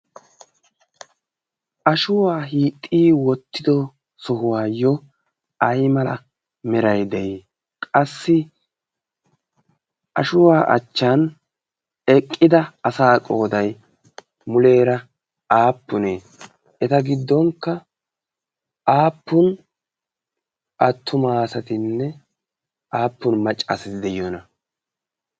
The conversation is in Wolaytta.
ashuwaa hixxi wottido sohuwaayyo ai mala merai de'i qassi ashuwaa achchan eqqida asa qoodai muleera aappunee? eta giddonkka aappun attumaasatinne aappun maccaasati de'iyoona?